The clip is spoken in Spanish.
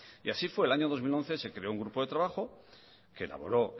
y así fue el año dos mil once se creó un grupo de trabajo que elaboró